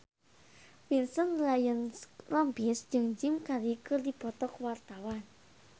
Vincent Ryan Rompies jeung Jim Carey keur dipoto ku wartawan